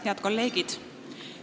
Head kolleegid!